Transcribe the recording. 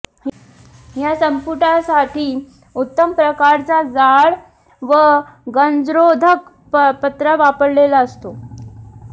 या संपुटासाठी उत्तम प्रकारचा जाड व गंजरोधक पत्रा वापरलेला असतो